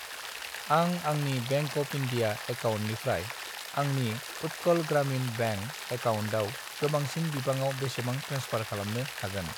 आं आंनि bank of India एकाउन्टनिफ्राय आंनि उट्कल ग्रामिन बेंक एकाउन्टआव गोबांसिन बिबाङाव बेसेबां ट्रेन्सफार खालामनो हागोन?